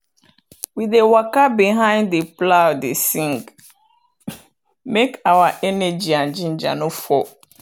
we dey waka behind the plow dey sing make our energy and ginger no fall.